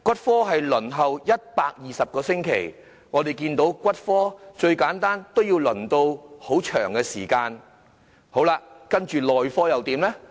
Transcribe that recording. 輪候時間是120個星期，最簡單的骨科也要輪候一段長時間；接着內科又如何呢？